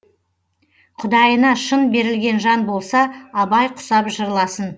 құдайына шын берілген жан болса абай құсап жырласын